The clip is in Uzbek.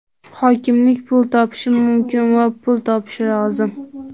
Hokimlik pul topishi mumkin va pul topishi lozim.